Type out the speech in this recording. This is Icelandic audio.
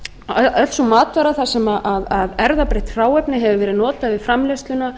að öll sú matvara þar sem erfðabreytt hráefni hefur verið notað við framleiðsluna